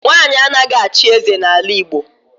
Nwanyị anaghị achị eze n'ala Igbo.